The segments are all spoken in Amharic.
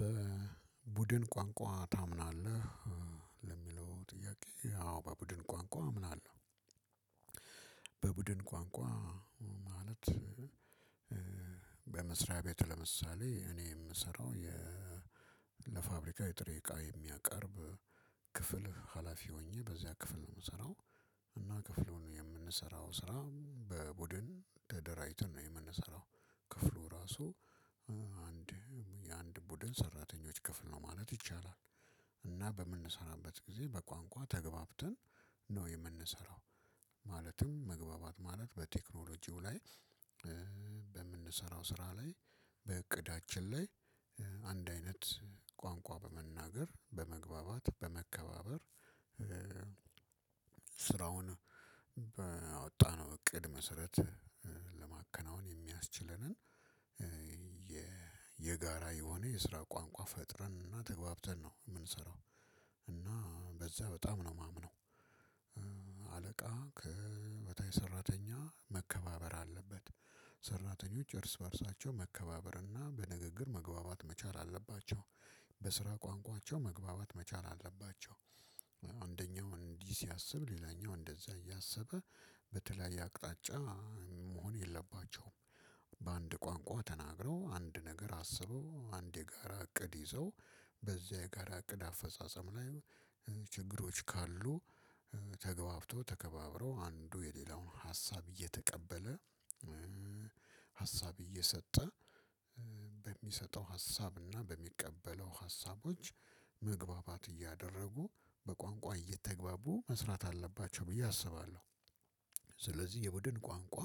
በቡድን ቋንቋ ታምናለህ? ለሚለው ጥያቄ አዎ በቡድን ቋንቋ አምናለሁ። በቡድን ቋንቋ ማለት ቤት ለምሳሌ እኔ የምሰራው የ ለፋብሪካዊ ጥሬ እቃ የሚያቀርብ ክፍል ሀላፊ ሆኜ በዚያ ክፍል ነው የምሰራው። እና ክፍሉን የምንሰራው ስራ በቡድን ተደራጅተን ነው የምንሰራው ክፍሉ ራሱ አንድ የአንድ ቡድን ሰራተኞች ክፍል ነው ማለት ይቻላል። እና በምንሰራበት ጊዜ በቋንቋ ተግባብተን ነው የምንሰራው። ማለትም መግባባት ማለት በቴክኖሎጂው ላይ በምንሰራው ስራ ላይ በእቅዳችን ላይ አንድ አይነት ቋንቋ በመናገር በመግባባት በመከባበር። ስራውን ባወጣነው እቅድ መሰረት ለማከናወን የሚያስችለንን የጋራ የሆነ የስራ ቋንቋ ፈጥረንና ተግባብተን ነው የምንሰራው። እና በዛ በጣም ነው የማምነው። አለቃ ከበታች ሰራተኛ መከባበር አለበት። ሰራተኞች እርስ በእርሳቸው መከባበርና በንግግር መግባባት መቻል አለባቸው። በስራ ቋንቋቸው መግባባት መቻል አለባቸው። አንደኛው እንዲህ ሲያስብ ሌላኛው እንደዛ እያሰበ በተለያየ አቅጣጫ መሆን የለባቸውም። በአንድ ቋንቋ ተናግረው አንድ ነገር አስበው አንድ የጋራ እቅድ ይዘው በዚያ የጋራ እቅድ አፈጻጸም ላይ ችግሮች ካሉ ተግባብተው ተከባብረው አንዱ የሌላውን ሀሳብ እየተቀበለ ሀሳብ እየሰጠ በሚሰጠው ሀሳብ እና በሚቀበለው ሀሳቦች መግባባት እያደረጉ በቋንቋ እየተግባቡ መስራት አለባቸው ብዬ አስባለሁ። ስለዚህ የቡድን ቋንቋ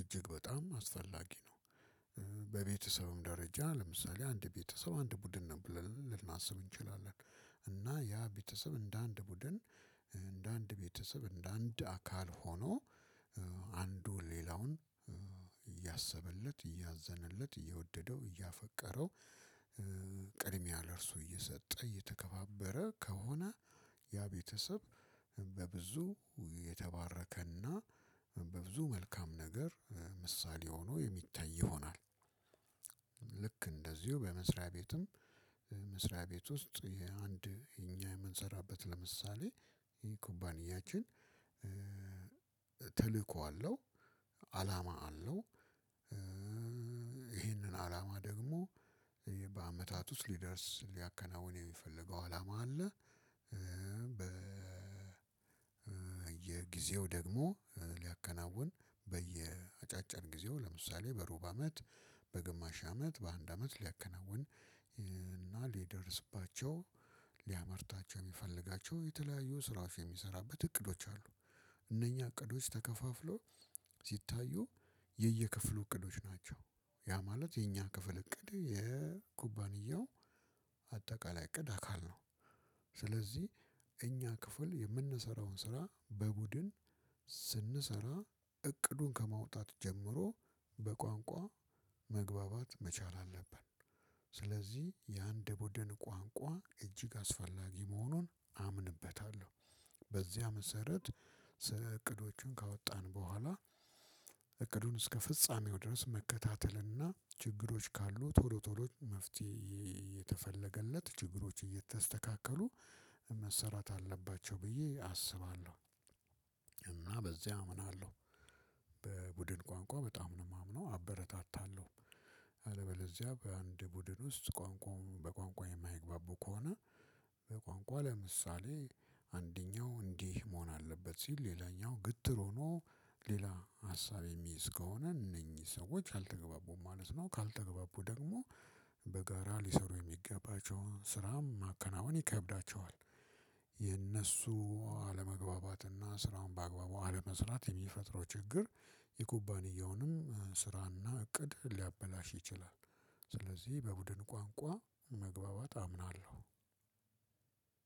እጅግ በጣም አስፈላጊ ነው። በቤተሰብም ደረጃ ለምሳሌ አንድ ቤተሰብ አንድ ቡድን ነው ብለን ልናስብ እንችላለን። እና ያ ቤተሰብ እንደ አንድ ቡድን እንደ አንድ ቤተሰብ እንደ አንድ አካል ሆኖ አንዱ ሌላውን እያሰበለት እያዘነለት እየወደደው እያፈቀረው ቅድሚያ ለእርሱ እየሰጠ እየተከባበረ ከሆነ ያ ቤተሰብ በብዙ የተባረከና በብዙ መልካም ነገር ምሳሌ ሆኖ የሚታይ ይሆናል። ልክ እንደዚሁ በመስሪያ ቤትም መስሪያ ቤት ውስጥ የአንድ እኛ የምንሰራበት ለምሳሌ ይሄ ኩባንያችን ተልእኮ አለው። አላማ አለው። ይሄንን አላማ ደግሞ በአመታት ውስጥ ሊደርስ ሊያከናውን የሚፈልገው አላማ አለ። በ የጊዜው ደግሞ ሊያከናውን በየአጫጭር ጊዜው ለምሳሌ በሩብ አመት በግማሽ አመት በአንድ አመት ሊያከናውን ሊደርስባቸው ሊያመርታቸው የሚፈልጋቸው የተለያዩ ስራዎች የሚሰራበት እቅዶች አሉ። እነኛ እቅዶች ተከፋፍለው ሲታዩ የየክፍሉ እቅዶች ናቸው። ያ ማለት የኛ ክፍል እቅድ የኩባንያው አጠቃላይ እቅድ አካል ነው። እኛ ክፍል የምንሰራውን ስራ በቡድን ስንሰራ እቅዱን ከማውጣት ጀምሮ በቋንቋ መግባባት መቻል አለብን። ስለዚህ የአንድ ቡድን ቋንቋ እጅግ አስፈላጊ መሆኑን አምንበታለሁ። በዚያ መሰረት እቅዶችን ካወጣን በኋላ እቅዱን እስከፍጻሜው ድረስ መከታተል እና ችግሮች ካሉ ቶሎ ቶሎ መፍትሄ እየተፈለገለት ችግሮች እየተስተካከሉ መሰራት አለባቸው ብዬ አስባለው። እና በዚህ አምናለሁ። በቡድን ቋንቋ በጣም ነው የማምነው አበረታታለሁ። አለበዚያ በአንድ ቡድን ውስጥ ቋንቋው በቋንቋ የማይግባቡ ከሆነ በቋንቋ ለምሳሌ አንደኛው እንዲህ መሆን አለበት ሲል ሌላኛው ግትር ሆኖ ሌላ ሀሳብ የሚይዝ ከሆነ እነኚህ ሰዎች አልተገባቡም ማለት ነው። ካልተገባቡ ደግሞ በጋራ ሊሰሩ የሚገባቸውን ስራም ማከናወን ይከብዳቸዋል። የነሱ አለመግባባትና ስራውን ባግባቡ አለመስራት የሚፈጥረው ችግር የኩባንያውንም ስራና እቅድ ሊያበላሽ ይችላል። ስለዚህ በቡድን ቋንቋ መግባባት አምናለሁ።